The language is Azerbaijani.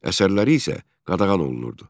Əsərləri isə qadağan olunurdu.